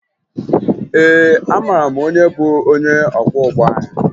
Ee, amara m onye bụ onye ọkwọụgbọ anyị